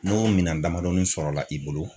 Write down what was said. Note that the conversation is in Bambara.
N'o minan damadɔnin sɔrɔ la i bolo